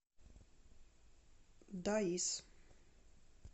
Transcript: даис